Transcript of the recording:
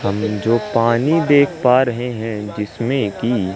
हम जो पानी देख पा रहे है जिसमें कि--